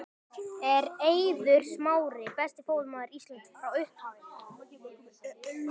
Er Eiður Smári besti fótboltamaður Íslands frá upphafi?